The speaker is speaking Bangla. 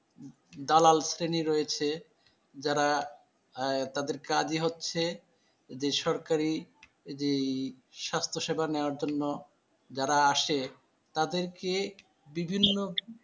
দালাল শ্রেণী রয়েছে যারা আহ তাদের কাজই হচ্ছে বেসরকারি যে স্বাস্থ্য সেবা নেওয়ার জন্য যারা আসে তাদেরকে বিভিন্ন